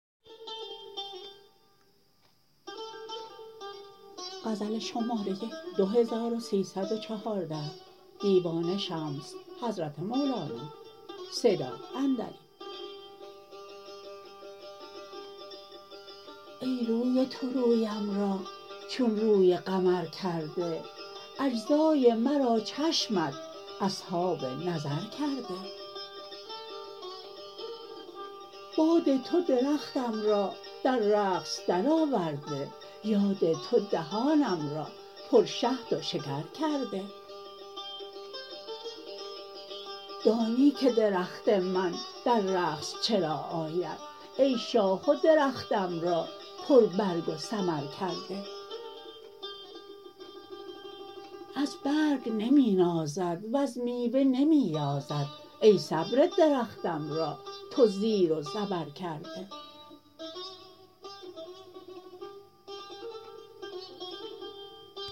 ای روی تو رویم را چون روی قمر کرده اجزای مرا چشمت اصحاب نظر کرده باد تو درختم را در رقص درآورده یاد تو دهانم را پرشهد و شکر کرده دانی که درخت من در رقص چرا آید ای شاخ و درختم را پربرگ و ثمر کرده از برگ نمی نازد وز میوه نمی یازد ای صبر درختم را تو زیر و زبر کرده